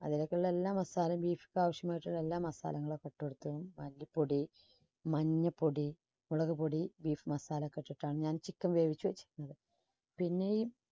അതിലേക്കുള്ള എല്ലാ masala യും beef ക്ക് ആവശ്യമായിട്ടുള്ള എല്ലാ masala കളും ഒക്കെ ഇട്ടുകൊടുത്തും മല്ലിപ്പൊടി, മഞ്ഞപ്പൊടി, മുളകുപൊടി beef masala ഒക്കെ ഇട്ടിട്ടാണ് ഞാൻ chicken വേവിച്ചു വെച്ചിരുന്നത്. പിന്നെയും